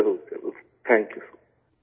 ضرور ضرور، thank you